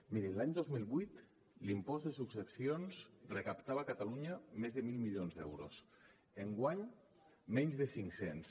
mirin l’any dos mil vuit l’impost de successions recaptava a catalunya més de mil milions d’euros enguany menys de cinc cents